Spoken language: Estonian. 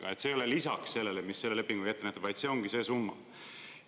Nii et see ei ole lisaks sellele, mis on selle lepinguga ette nähtud, vaid see ongi see summa?